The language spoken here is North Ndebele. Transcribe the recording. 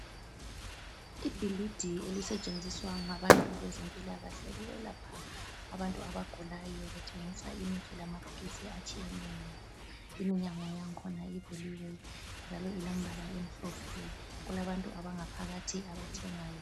Ibhilidi elisetshenziswa ngabantu bezempilakahle ukwelapha abantu abagulayo bethengisa imithi lamaphilisi atshiyeneyo imnyango yakhona ivuliwe njalo ilombala omhlophe , kulabantu abangaphakathi abathengayo.